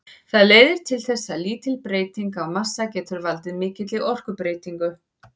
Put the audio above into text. Það leiðir til þess að lítil breyting á massa getur valdið mikilli orkubreytingu.